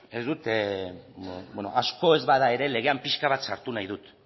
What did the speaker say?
ez dut asko ez bada ere legean pixka bat sartu nahi dut